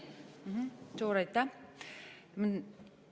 Suur aitäh!